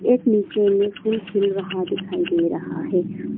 एक नीचे में फूल खिल रहा दिखाई दे रहा है।